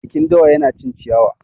Jakin dawa yana cin ciyawa.